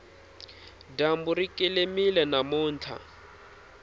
dyambu ri kelemile namuntlha